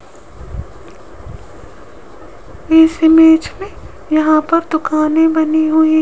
इस इमेज मे यहां पर दुकाने बनी हुई --